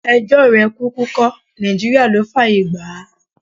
Ẹjọ́ rẹ̀ kúkú kọ́, Nàìjíríà ló fáàyè gbà á.